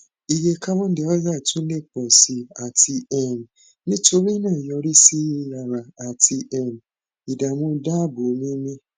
iye carbon dioxide tun le pọ si ati um nitorinaa yorisi yiyara ati um idaamu daabo mimi